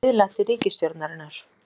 Biðla til ríkisstjórnarinnar